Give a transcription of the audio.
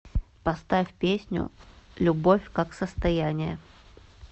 поставь песню любовь как состояние